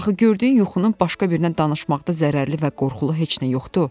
Axı gördüyün yuxunun başqa birinə danışmaqda zərərli və qorxulu heç nə yoxdur.